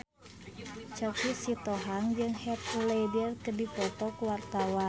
Choky Sitohang jeung Heath Ledger keur dipoto ku wartawan